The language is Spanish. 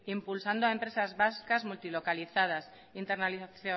impulsando a empresa vascas multilocalizadas